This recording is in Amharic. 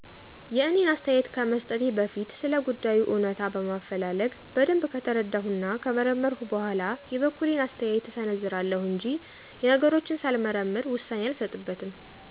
የእኔን አስተያየት ከመሰጠቴ በፊት ስለጉዳዩ እውነታ በማፈላለግ በደንብ ከተረዳሁ እና ከመረመረሁ በኋላ የበኩሌን አስተያየት እሰነዝራለሁ እንጅ ነገሮችን ሳልመረምር ውሳኔ አልሰጥበትም።